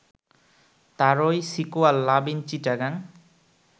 তারই sequel love in Chittagong